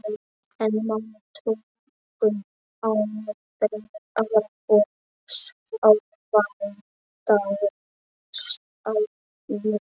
En málin tóku aðra og óvæntari stefnu.